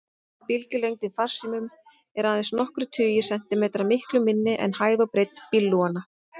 Bylgjulengdin farsímum er aðeins nokkrir tugir sentimetra, miklu minni en hæð og breidd bílglugganna.